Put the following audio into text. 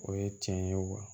O ye tiɲɛ ye wa